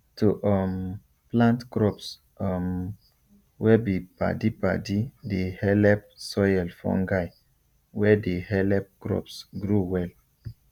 to um plant crops um wey be padipadi dey helep soil fungi wey dey helep crops grow well